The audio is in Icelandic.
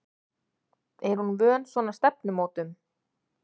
Er hún vön svona stefnumótum?